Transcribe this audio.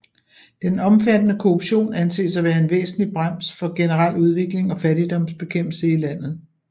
Den omfattende korruption anses at være en væsentlig brems for generel udvikling og fattigdomsbekæmpelse i landet